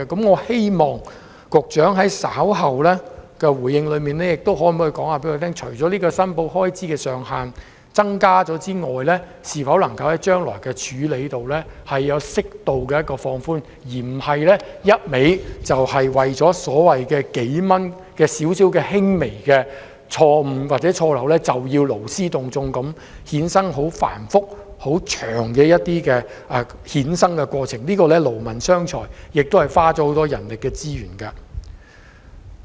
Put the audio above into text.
我希望局長稍後回應時可以告訴我們，除提高申報開支的門檻外，將來處理時是否有適度彈性，不是一味為了僅僅數元的輕微錯誤或錯漏，便勞師動眾，衍生繁複、漫長的過程，這樣只會勞民傷財，花費很多人力資源。